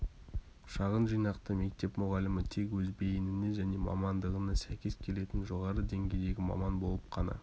шағын жинақты мектеп мұғалімі тек өз бейініне және мамандығына сәйкес келетін жоғары деңгейдегі маман болып қана